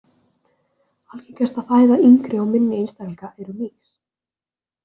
Algengasta fæða yngri og minni einstaklinga eru mýs.